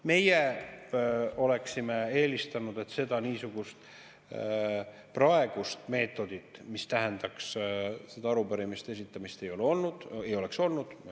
Meie oleksime eelistanud, et seda praegust meetodit, mis tähendab arupärimiste esitamist, ei oleks olnud.